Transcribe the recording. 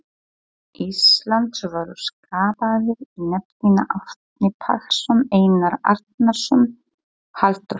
Íslands voru skipaðir í nefndina Árni Pálsson, Einar Arnórsson, Halldór